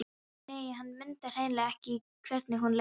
Nei, hann mundi hreinlega ekki hvernig hún leit út.